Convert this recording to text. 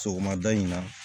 Sɔgɔmada in na